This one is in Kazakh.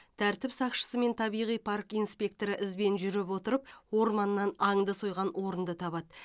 тәртіп сақшысы мен табиғи парк инспекторы ізбен жүріп отырып орманнан аңды сойған орынды табады